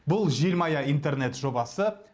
бұл желмая интернет жобасы